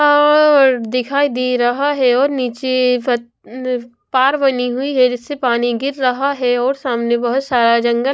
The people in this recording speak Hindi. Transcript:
और दिखाई दे रहा है और नीचे पथ ई अ पार बनी हुई है जिससे पानी गिर रहा है और सामने बहुत सारा जंगल--